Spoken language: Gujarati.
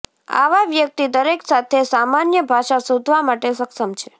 આવા વ્યક્તિ દરેક સાથે સામાન્ય ભાષા શોધવા માટે સક્ષમ છે